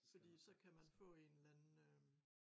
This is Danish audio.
Fordi så kan man få en eller anden øh